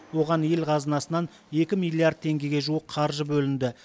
оған ел қазынасынан екі миллиард теңгеге жуық қаржы бөлінді